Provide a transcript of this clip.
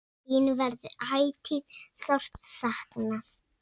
Þín verður ætíð sárt saknað.